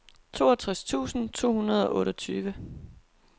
toogtres tusind to hundrede og otteogtyve